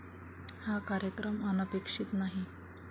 हा कार्यक्रम अनपेक्षित नाही.